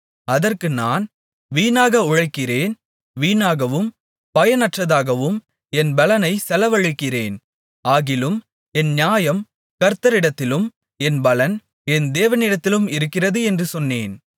அதற்கு நான் வீணாக உழைக்கிறேன் வீணாகவும் பயனற்றதாகவும் என் பெலனைச் செலவழிக்கிறேன் ஆகிலும் என் நியாயம் கர்த்தரிடத்திலும் என் பலன் என் தேவனிடத்திலும் இருக்கிறது என்று சொன்னேன்